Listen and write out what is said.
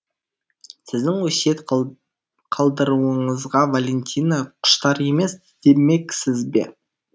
сіздің өсиет қалдыруыңызға валентина құштар емес демексіз бе